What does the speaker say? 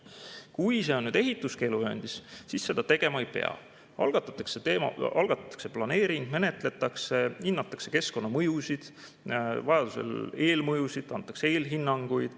Kui on ehituskeeluvööndis, siis seda tegema ei pea, algatatakse planeering, menetletakse, hinnatakse keskkonnamõjusid, vajadusel eelmõjusid, antakse eelhinnanguid.